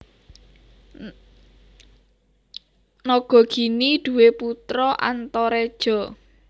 Nagagini duwé putra Antareja